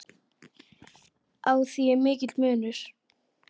Á því er mikill munur.